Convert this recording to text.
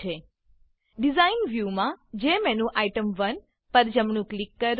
design design વ્યુમાં જેમેન્યુટેમ1 પર જમણું ક્લિક કરો